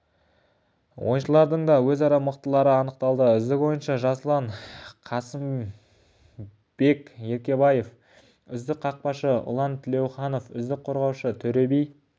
ойыншылардың да өзара мықтылары анықталды үздік ойыншы жасұлан қасымберкебаев үзік қақпашы ұлан төлеуханов үздік қорғаушы төреби